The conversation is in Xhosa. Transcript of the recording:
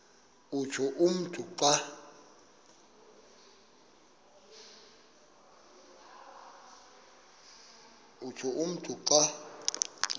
utsho umntu xa